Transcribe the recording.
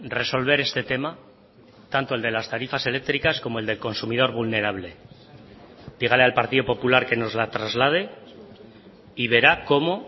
resolver este tema tanto el de las tarifas eléctricas como el del consumidor vulnerable dígale al partido popular que nos la traslade y verá cómo